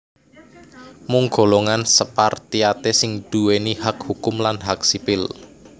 Mung golongan Spartiate sing nduwèni hak hukum lan hak sipil